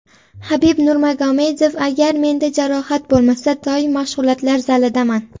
Habib Nurmagomedov: Agar menda jarohat bo‘lmasa, doim mashg‘ulotlar zalidaman.